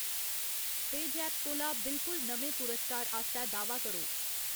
पेऽजैप cola बिलकुल नमें पुरस्कार आस्तै दाह्‌‌‌वा करो।